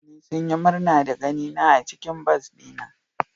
Mutane sun yi murna da ganina a cikin bas dina.